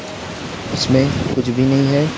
उसमें कुछ भी नहीं है।